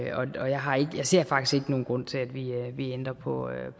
ser faktisk ikke nogen grund til at vi vi ændrer på